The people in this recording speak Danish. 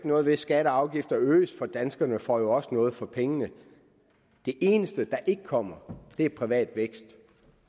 noget ved at skatter og afgifter øges for danskerne får jo også noget for pengene det eneste der ikke kommer er privat vækst